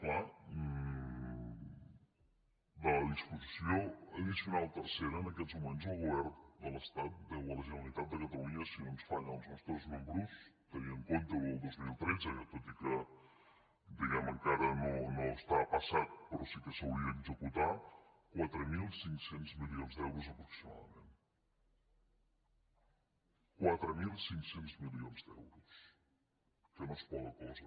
clar de la disposició addicional tercera en aquests moments el govern de l’estat deu a la generalitat de catalunya si no ens fallen els nostres números tenint en compte el dos mil tretze tot i que diguem ne encara no està passat però sí que s’hauria d’executar quatre mil cinc cents milions d’euros aproximadament quatre mil cinc cents milions d’euros que no és poca cosa